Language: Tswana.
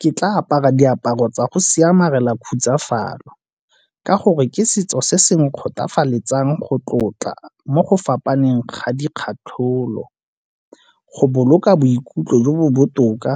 Ke tla apara diaparo tsa go khutsafalo, ka gore ke setso se se nkgothafaletsang go tlotla mo go fapaneng ga di kgatlholo, go boloka boikutlo jo bo botoka